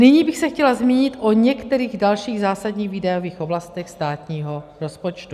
Nyní bych se chtěla zmínit o některých dalších zásadních výdajových oblastech státního rozpočtu.